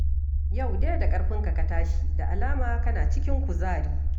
Yau dai da ƙarfinka ka tashi, da alama kana cikin kuzari